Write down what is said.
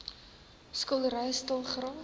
skietery stil geraak